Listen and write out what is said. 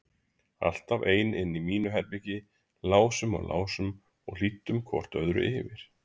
Alltaf ein inni í mínu herbergi, lásum og lásum og hlýddum hvort öðru yfir.